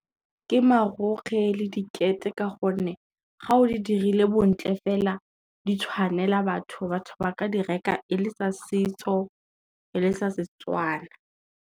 Ke marokgwe le dikete ka gonne, ga o di dirile bontle fela di tshwanela batho, batho ba ka di reka e le sa setso, e le tsa Setswana.